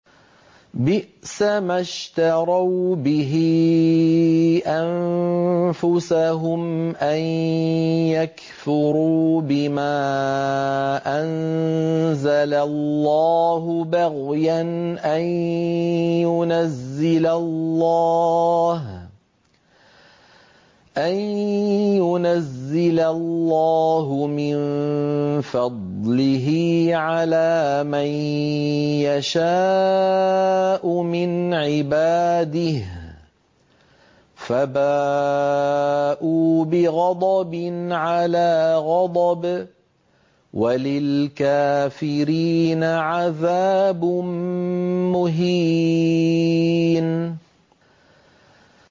بِئْسَمَا اشْتَرَوْا بِهِ أَنفُسَهُمْ أَن يَكْفُرُوا بِمَا أَنزَلَ اللَّهُ بَغْيًا أَن يُنَزِّلَ اللَّهُ مِن فَضْلِهِ عَلَىٰ مَن يَشَاءُ مِنْ عِبَادِهِ ۖ فَبَاءُوا بِغَضَبٍ عَلَىٰ غَضَبٍ ۚ وَلِلْكَافِرِينَ عَذَابٌ مُّهِينٌ